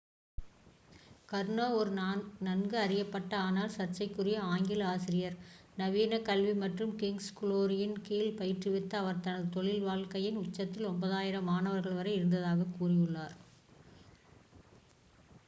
கர்னோ ஒரு நன்கு அறியப்பட்ட ஆனால் சர்ச்சைக்குரிய ஆங்கில ஆசிரியர் நவீன கல்வி மற்றும் கிங்'ஸ் குளோரியின் கீழ் பயிற்றுவித்த அவர் தனது தொழில் வாழ்க்கையின் உச்சத்தில் 9,000 மாணவர்கள் வரை இருந்ததாகக் கூறியுள்ளார்